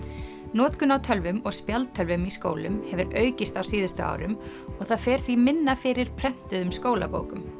notkun á tölvum og spjaldtölvum í skólum hefur aukist á síðustu árum og það fer því minna fyrir prentuðum skólabókum